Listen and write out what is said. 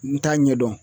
N t'a ɲɛdɔn